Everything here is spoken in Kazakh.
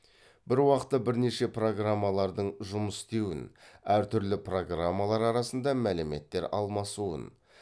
бір уақытта бірнеше программалардың жұмыс істеуін әр түрлі программалар арасында мәліметтер алмасуын